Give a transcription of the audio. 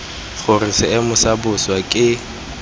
gore seemo sa bosa ke